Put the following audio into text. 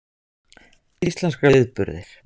Framburðaræfingarnar eru skemmtilegar.